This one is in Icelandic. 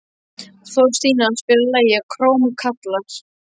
Þorstína, spilaðu lagið „Krómkallar“.